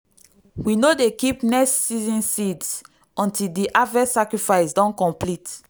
we no dey keep next season seeds until di harvest sacrifice don complete.